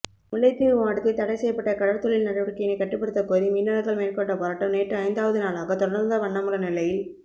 முல்லைத்தீவு மாவட்டத்தில் தடைசெய்யப்பட்ட கடற்தொழில் நடவடிக்கையினை கட்டுப்படுத்தக் கோரி மீனவர்கள் மேற்கொண்ட போராட்டம் நேற்று ஐந்தாவது நாளாக தொடர்ந்தவண்ணமுள்ள நிலையில்